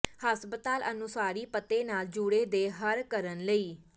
ਹਸਪਤਾਲ ਅਨੁਸਾਰੀ ਪਤੇ ਨਾਲ ਜੁੜੇ ਦੇ ਹਰ ਕਰਨ ਲਈ